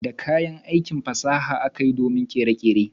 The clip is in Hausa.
Da kayan aiki fasaha akayi domin tsara kere-kere.